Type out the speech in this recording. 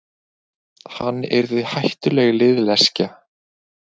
Hann yrði hættuleg liðleskja.